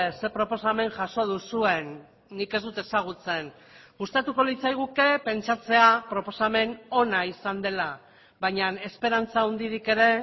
ze proposamen jaso duzuen nik ez dut ezagutzen gustatuko litzaiguke pentsatzea proposamen ona izan dela baina esperantza handirik ere